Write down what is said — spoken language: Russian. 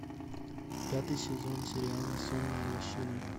пятый сезон сериала сонная лощина